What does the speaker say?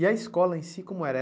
E a escola em si como era?